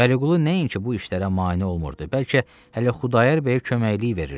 Vəliqulu nəinki bu işlərə mane olmurdu, bəlkə hələ Xudayar bəyə köməkliyi verirdi.